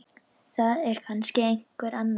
Það er kannski einhver annar.